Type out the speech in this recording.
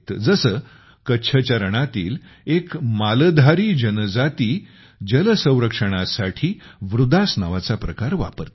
जसे कच्छ च्या रणातील एक मालधारी जनजाती जलसंरक्षणासाठी वृदास नावाचा प्रकार वापरते